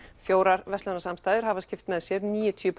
fjórar hafa skipt með sér níutíu